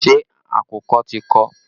Ṣé àkùkọ ti kọ?